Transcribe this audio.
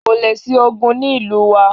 kóle sí ogún ni ìlú wa